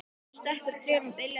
Skekur trén og beljar á grasinu.